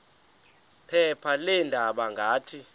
phepha leendaba ngathi